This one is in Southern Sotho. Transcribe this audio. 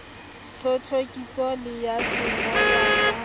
thothokiso le ya sengolwa sa